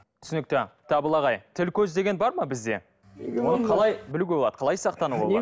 түсінікті табыл ағай тіл көз деген бар ма бізде қалай білуге болады қалай сақтануға болады